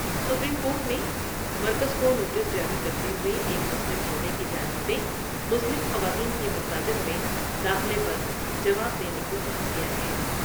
Supreme court نے مرکز کو نوٹس جاری کرتے ہوۓ ایک مسلم جوڑے کی جانب سے مسلم خواتین کی مساجد میں داخلے پر جواب دینے کو کہا گیا ہے ۔